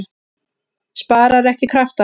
Sparar ekki kraftana.